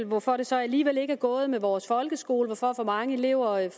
hvorfor det så alligevel ikke er gået godt med vores folkeskole hvorfor for mange elever